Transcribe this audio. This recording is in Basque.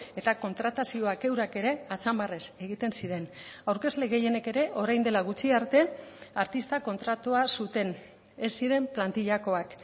eta kontratazioak eurak ere atzamarrez egiten ziren aurkezle gehienek ere orain dela gutxi arte artista kontratua zuten ez ziren plantillakoak